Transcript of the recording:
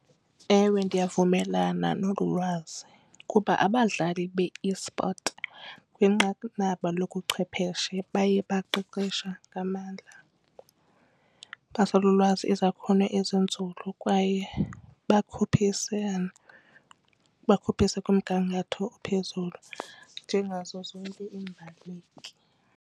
Ewe, ndiyavumelana nolu lwazi kuba abadlali be-esport kwinqanaba lobuchwepheshe baye baqeqeshe ngamandla basolo ulwazi izakhono ezinzulu kwaye bakhuphisane kumgangatho ophezulu njengazo zonke iimbaleki.